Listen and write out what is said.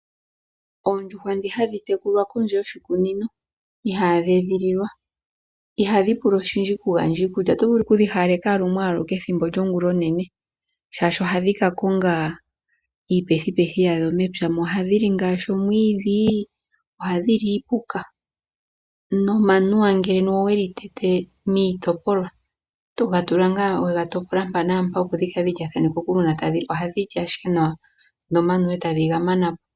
Oondjuhwa ndhono ihadhi tekulilwa moshikuku ihadhi pula oshindji unene oto vulu ashike okudhi hawaleka lumwe aluke ongulonene. Ohadhi ka konga iipethupethu yadho oshoka ohadhi li omwiidhi nenge enuwa weli tete otadhi vulu ashike okuli mana po.